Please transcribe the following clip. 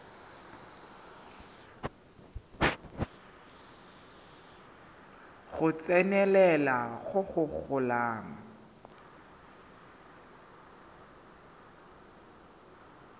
go tsenelela go go golang